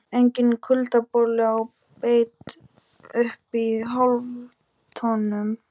Enginn kuldaboli á beit uppi í háloftunum.